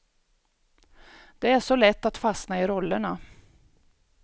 Det är så lätt att fastna i rollerna.